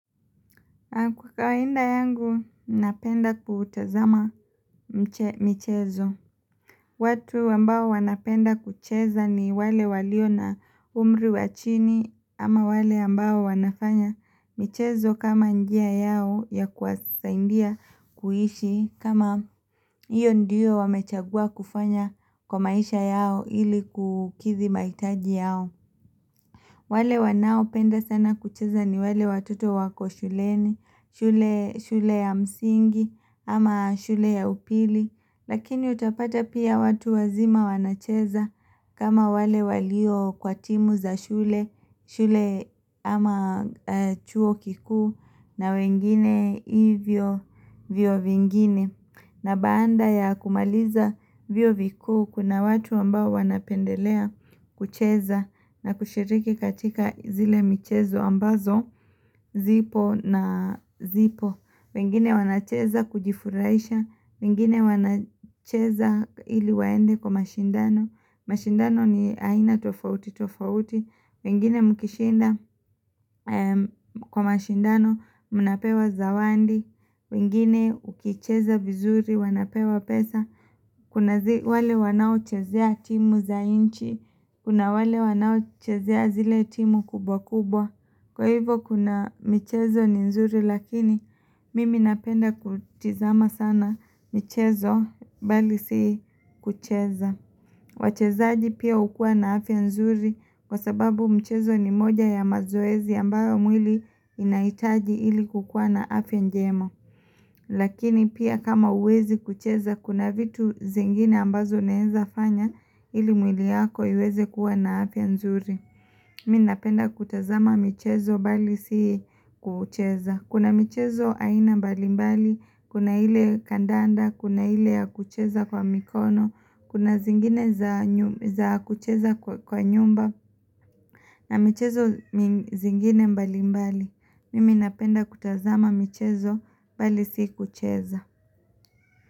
Kawaida yangu, napenda kutazama michezo. Watu ambao wanapenda kucheza ni wale walio na umli wa chini, ama wale ambao wanafanya michezo kama njia yao ya kuwasaidia kuishi kama hiyo ndiyo wamechagua kufanya kwa maisha yao ili kukidhi mahitaji yao. Wale wanaopenda sana kucheza ni wale watoto wako shuleni, shule ya msingi ama shule ya upili, lakini utapata pia watu wazima wanacheza kama wale walio kwa timu za shule, shule ama chuo kikuu na wengine hivyo vyuo vingine. Na baada ya kumaliza vyuo vikuu kuna watu ambao wanapendelea kucheza na kushiriki katika zile michezo ambazo zipo na zipo. Wengine wanacheza kujifuraisha, wengine wanacheza ili waende kwa mashindano, mashindano ni aina tofauti tofauti. Wengine mkishinda kwa mashindano mnapewa zawadi, wengine ukicheza vizuri wanapewa pesa Kuna wale wanaochezea timu za inchi Kuna wale wanaochezea zile timu kubwa kubwa, kwa hivyo kuna mchezo ni nzuri lakini mimi napenda kutizama sana michezo bali si kucheza wachezaji pia hukua na afya nzuri, wa sababu michezo ni moja ya mazoezi ambayo mwili inaitaji ili kukua na afya njema Lakini pia kama huwezi kucheza kuna vitu zingine ambazo unaweza fanya ili mwili yako uweze kuwa na afya nzuri Mimi napenda kutazama mchezo bali si kucheza. Kuna michezo aina mbali mbali, kuna ile kandanda, kuna ile ya kucheza kwa mikono, kuna zingine za kucheza kwa nyumba na michezo zingine mbali mbali, mimi napenda kutazama michezo mbali si kucheza.